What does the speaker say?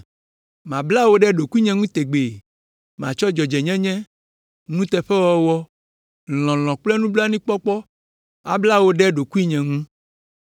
Mabla wò ɖe ɖokuinye ŋu tegbee; matsɔ dzɔdzɔenyenye, nuteƒewɔwɔ, lɔlɔ̃ kple nublanuikpɔkpɔ abla wò ɖe ɖokuinye ŋu.